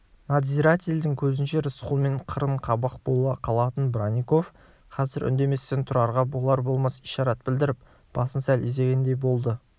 надзирательдің көзінше рысқұлмен қырын қабақ бола қалатын бронников қазір үндеместен тұрарға болар-болмас ишарат білдіріп басын сәл изегендей болды